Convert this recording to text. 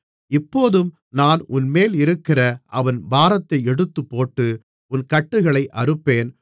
இப்போதும் நான் உன்மேல் இருக்கிற அவன் பாரத்தை எடுத்துப்போட்டு உன் கட்டுகளை அறுப்பேன்